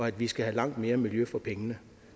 at vi skal have langt mere miljø for pengene